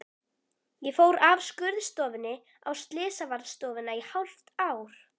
Ég fór af skurðstofunni á slysavarðstofuna í hálft ár.